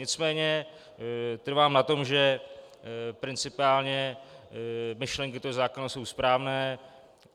Nicméně trvám na tom, že principiálně myšlenky toho zákona jsou správné.